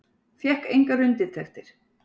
Fékk engar undirtektir.